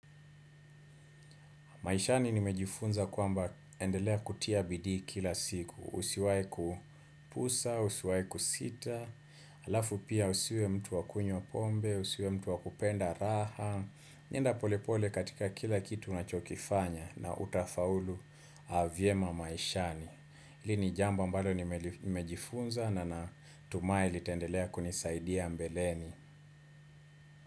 Maishani nimejifunza kwamba endelea kutia bidii kila siku, usiwai kupusa, usiwai kusita, halafu pia usiwe mtu wa kunywa pombe, usiwe mtu wa kupenda raha, enda pole pole katika kila kitu unachokifanya na utafaulu vyema maishani. Hili ni jambo ambalo nimejifunza na natuma litaendelea kunisaidia mbeleni.